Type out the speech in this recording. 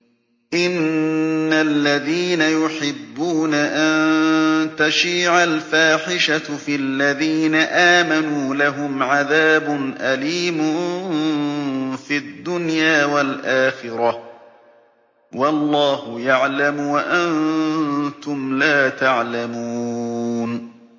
إِنَّ الَّذِينَ يُحِبُّونَ أَن تَشِيعَ الْفَاحِشَةُ فِي الَّذِينَ آمَنُوا لَهُمْ عَذَابٌ أَلِيمٌ فِي الدُّنْيَا وَالْآخِرَةِ ۚ وَاللَّهُ يَعْلَمُ وَأَنتُمْ لَا تَعْلَمُونَ